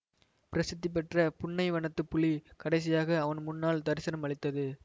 பிரசித்தி பெற்ற புன்னைவனத்துப் புலி கடைசியாக அவன் முன்னால் தரிசனம் அளித்தது